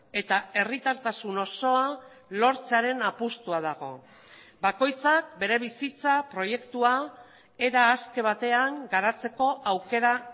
eta herritartasun osoa lortzearen apustua dago bakoitzak bere bizitza proiektua era aske batean garatzeko aukera